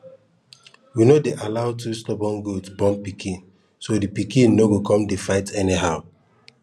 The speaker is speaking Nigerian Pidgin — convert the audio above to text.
we no dey allow two stubborn goats born pikin so the pikin no go come dey fight anyhow